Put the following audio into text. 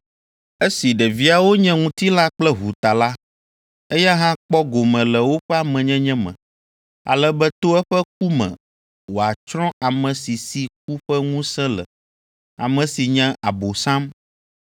Esi ɖeviawo nye ŋutilã kple ʋu ta la, eya hã kpɔ gome le woƒe amenyenye me, ale be to eƒe ku me wòatsrɔ̃ ame si si ku ƒe ŋusẽ le, ame si nye Abosam,